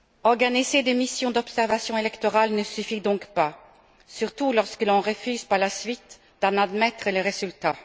Organiser des missions d'observation électorales ne suffit donc pas, surtout lorsque l'on refuse par la suite d'en admettre le résultat.